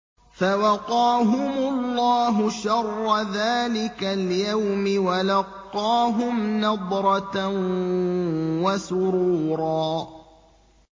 فَوَقَاهُمُ اللَّهُ شَرَّ ذَٰلِكَ الْيَوْمِ وَلَقَّاهُمْ نَضْرَةً وَسُرُورًا